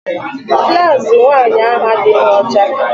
Blaụzụ nwaanyị ahụ adịghị ọcha.